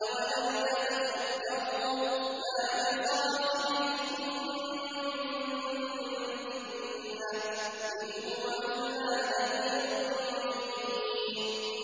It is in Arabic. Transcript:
أَوَلَمْ يَتَفَكَّرُوا ۗ مَا بِصَاحِبِهِم مِّن جِنَّةٍ ۚ إِنْ هُوَ إِلَّا نَذِيرٌ مُّبِينٌ